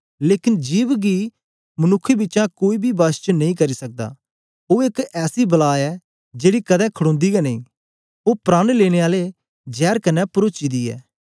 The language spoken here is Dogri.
लेकन जिभ गी मनुक्खें बिचा कोई बी वश च नेई करी सकदा ओ एक ऐसी बला ऐ जेड़ी कदें खड़ोंदी गै नेई ओ प्राण लेने आले जैर कन्ने परोची दी ऐ